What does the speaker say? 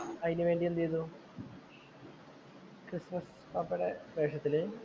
അതിനു വേണ്ടി എന്തു ചെയ്തു? ക്രിസ്മസ് പാപ്പയുടെ വേഷത്തില്‍